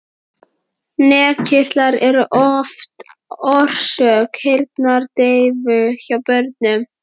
Nefkirtlar eru oft orsök heyrnardeyfu hjá börnum.